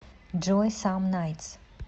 джой сам найтс